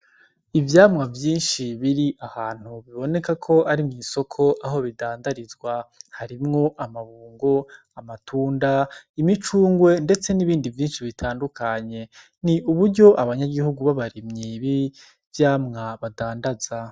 Ivyamwa vyinshi biri ahantu biboneka ko ari mu isoko aho bidandarizwa, harimwo amabungo, amatunda, imicungwe ndetse n'ibindi vyinshi bitandukanye. Ni uburyo abanyagihugu b’abarimye b'ivyamwa badandaza.